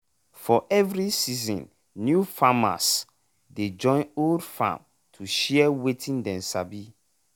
for every season new farmers dey join old farm to share wetin dey sabi.